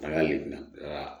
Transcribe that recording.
An ka lemina aa